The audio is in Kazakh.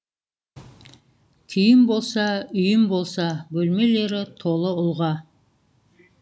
күйім болса үйім болса бөлмелері толы ұлға